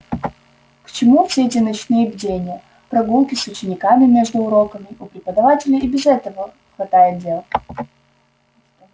к чему все эти ночные бдения прогулки с учениками между уроками у преподавателей и без этого хватает дел